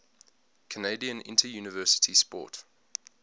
canadian interuniversity sport